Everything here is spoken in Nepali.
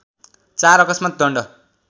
४ अकस्मात् दण्ड